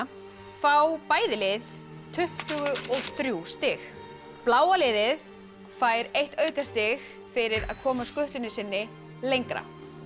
fá bæði lið tuttugu og þrjú stig bláa liðið fær eitt aukastig fyrir að koma skutlunni sinni lengra